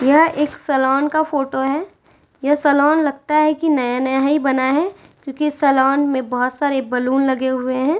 यह एक सैलून का फोटो है। यह सैलून लगता है कि नया-नया ही बना है क्योंकि सैलून में बोहोत सारे बैलून लगे हुए हैं।